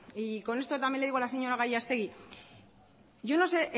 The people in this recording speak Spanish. y con esto también le digo a la señora gallastegui yo no sé